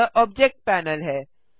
यह object panel है